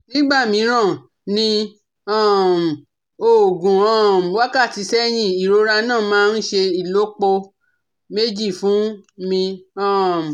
Nígbà mìíràn ní um ogún um wákàtí sẹ́yìn, ìrora náà máa ń ṣe ìlọ́po méjì fún mi um